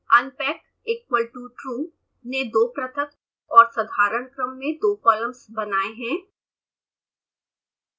unpackequal totrue ने दो पृथक और साधारण क्रम में दो कॉलम्स बनाए हैं